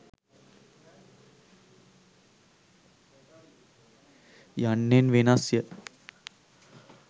යන්නෙන් වෙනස්ය.